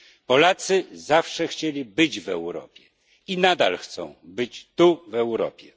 Polacy zawsze chcieli być w Europie i nadal chcą być tu, w Europie.